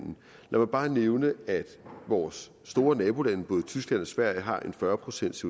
mig bare nævne at vores store nabolande både tyskland og sverige har en fyrre procents